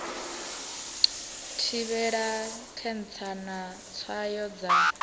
thivhela khentsa na tswayo dza